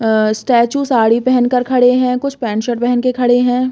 अ statue sari पहन कर खड़े हैं कुछ पेंट शर्ट पहन कर खड़े है।